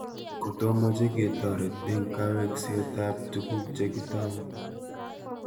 Kotomoche kotoret eng' kaweeksetap tuguk chegitau